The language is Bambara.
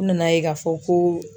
U nana ye k'a fɔ ko.